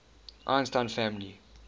einstein family